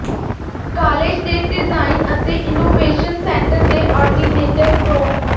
college ਦੇ design ਅਤੇ innovation centre ਦੇ ਆਰਡਿਨੇਟਰ ਪ੍ਰੋ